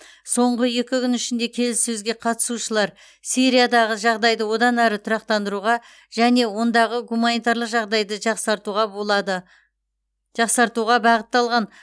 соңғы екі күн ішінде келіссөзге қатысушылар сириядағы жағдайды одан ары тұрақтандыруға және ондағы гуманитарлық жағдайды жақсартуға болады жақсартуға бағытталған